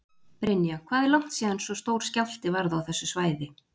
Brynja: Hvað er langt síðan svo stór skjálfti varð á þessu svæði?